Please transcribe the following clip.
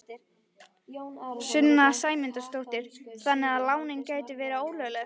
Sunna Sæmundsdóttir: Þannig að lánin gætu verið ólögleg?